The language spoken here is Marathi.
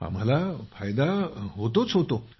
आम्हाला फायदा होतोच होतो